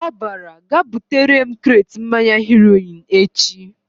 Ọ bara "Gaa butere m kret mmanya Heroin echi!"